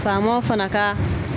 Faamaw fana ka